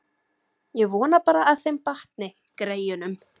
Ég vona bara að þeim batni, greyjunum.